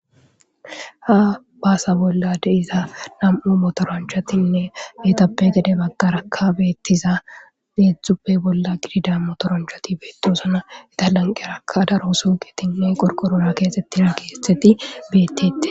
Ha baasa bolla deiza nam'u motoranchatinne betappe gede baggaraka beettiza deedzdzuppe bolla gidida motoranchati beettosana etalanqerakka daro suugitinne qorqorona keexettina keetheti beettete